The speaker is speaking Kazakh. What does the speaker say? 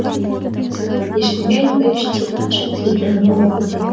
ешкімге айтпай іштей қанша тілегенім бала көтерме